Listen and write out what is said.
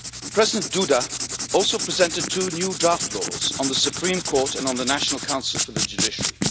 President Duda also presented two new draft laws on the Supreme Court and on the National Council for the Judiciary.